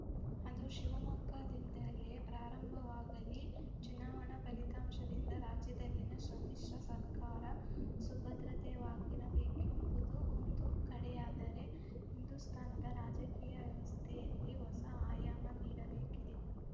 ಅದು ಶಿವಮೊಗ್ಗದಿಂದಲೇ ಪ್ರಾರಂಭವಾಗಲಿ ಚುನಾವಣಾ ಫಲಿತಾಂಶದಿಂದ ರಾಜ್ಯದಲ್ಲಿನ ಸಮ್ಮಿಶ್ರ ಸರ್ಕಾರ ಸುಭದ್ರತೆವಾಗಿರಬೇಕೆಂಬುದು ಒಂದು ಕಡೆಯಾದರೆ ಹಿಂದೂಸ್ಥಾನದ ರಾಜಕೀಯ ವ್ಯವಸ್ಥೆಯಲ್ಲಿ ಹೊಸ ಆಯಾಮ ನೀಡಬೇಕಿದೆ